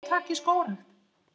Átak í skógrækt